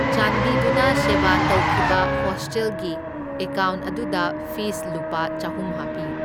ꯆꯥꯟꯕꯤꯗꯨꯅ ꯁꯦꯕ ꯇꯧꯈꯤꯕ ꯍꯣꯁꯇꯦꯜꯒꯤ ꯑꯦꯀꯥꯎꯟ ꯑꯗꯨꯗ ꯐꯤꯁꯂꯨꯄꯥ ꯆꯍꯨꯝ ꯍꯥꯞꯄꯤꯌꯨ꯫